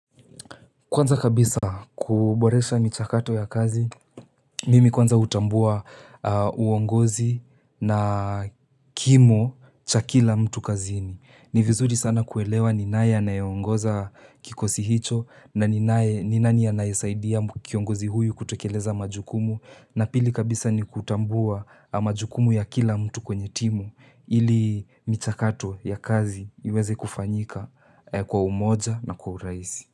Kwanza kabisa kuboresha michakato ya kazi, mimi kwanza hutambua uongozi na kimo cha kila mtu kazini. Ni vizuri sana kuelewa ni nani anayeongoza kikosi hicho na ni nanii anayesaidia kiongozi huyu kutekeleza majukumu. Na pili kabisa ni kutambua majukumu ya kila mtu kwenye timu ili michakato ya kazi iweze kufanyika kwa umoja na kwa urahisi.